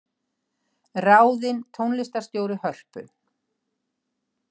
Ráðin tónlistarstjóri Hörpu